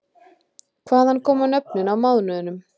Hvaðan koma nöfnin á mánuðunum?